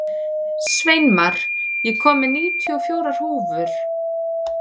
Sveinmar, ég kom með níutíu og fjórar húfur!